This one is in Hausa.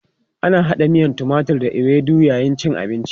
Ana hada miyan timatur da ewedu a yayin cin abinci.